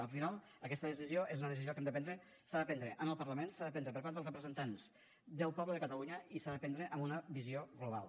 al final aquesta decisió és una decisió que hem de prendre s’ha de prendre en el parlament s’ha de prendre per part dels representants del poble de catalunya i s’ha de prendre amb una visió global